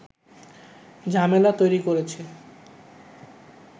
ঝামেলা তৈরি করেছে